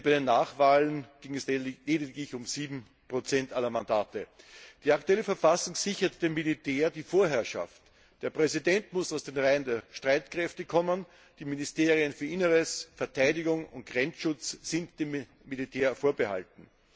Denn bei den Nachwahlen ging es lediglich um 7 aller Mandate. Die aktuelle Verfassung sichert dem Militär die Vorherrschaft. Der Präsident muss aus den Reihen der Streitkräfte kommen, die Ministerien für Inneres, Verteidigung und Grenzschutz sind dem Militär vorbehalten.